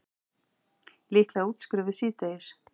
Líklega útskrifuð síðdegis